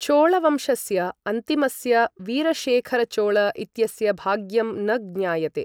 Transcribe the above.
चोळवंशस्य अन्तिमस्य वीरशेखरचोळ इत्यस्य भाग्यं न ज्ञायते।